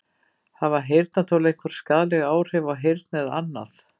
Hafa heyrnartól einhver skaðleg áhrif á heyrn eða annað?